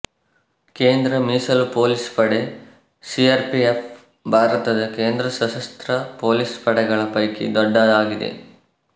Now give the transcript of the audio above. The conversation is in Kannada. ಕೇಂದ್ರ ಮೀಸಲು ಪೊಲೀಸ್ ಪಡೆ ಸಿಆರ್ಪಿಎಫ್ ಭಾರತದ ಕೇಂದ್ರ ಸಶಸ್ತ್ರ ಪೊಲೀಸ್ ಪಡೆಗಳ ಪೈಕಿ ದೊಡ್ಡ ಆಗಿದೆ